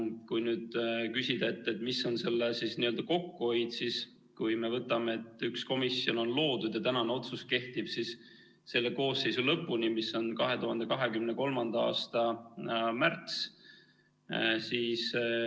Kui nüüd küsida, mis on kokkuhoid, siis võtame, et üks komisjon on loodud ja tänane otsus kehtib selle koosseisu lõpuni, mis on 2023. aasta märts.